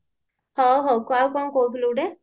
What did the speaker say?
ଅ ହଉ ଆଉ କଣ କହୁଥିଲୁ ଗୋଟେ